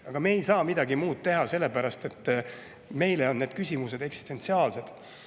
Aga me ei saa midagi muud teha, sellepärast et meie jaoks on need küsimused eksistentsiaalsed.